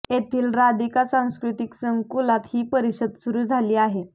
येथील राधिका सांस्कृतिक संकुलात ही परिषद सुरू झाली आहे